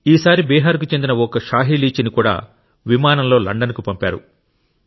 ఈసారి బీహార్కు చెందిన ఓ షాహి లీచీని కూడా విమానంలో లండన్కు పంపారు